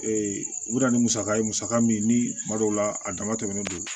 Ee u bɛ na ni musaka ye musaka min ni kuma dɔw la a dama tɛmɛnen don